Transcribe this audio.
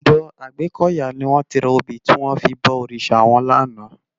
Òdò Agbekoya ni wòn ti rá óbi tiwòn fi bò órisá wòn làná